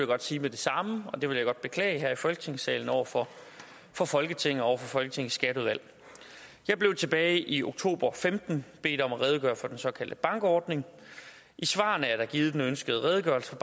godt sige med det samme og det vil jeg godt beklage her i folketingsalen over for for folketinget og over folketingets skatteudvalg jeg blev tilbage i oktober og femten bedt om at redegøre for den såkaldte bankordning i svarene er der givet den ønskede redegørelse